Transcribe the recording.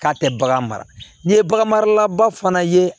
K'a tɛ bagan mara ni ye bagan marala ba fana ye